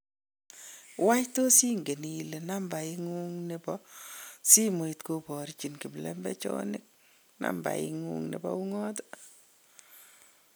Wany tos ingen ile nameng'ung nebo simoit koborchin kiplembechonik nambai ng'ung nebo Ung'at?